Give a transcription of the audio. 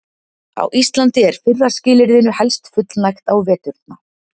Á Íslandi er fyrra skilyrðinu helst fullnægt á veturna.